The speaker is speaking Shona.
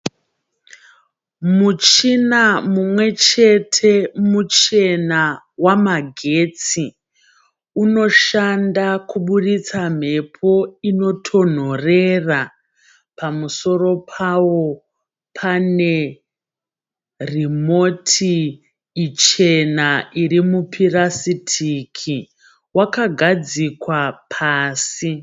Muchina mumwe chete muchena wamagetsi unoshanda kubuditsa mhepo inotonhorera. Pamusoro pawo pane remoti ichena iri mupirasitiki. Wakagadzikwa pasi.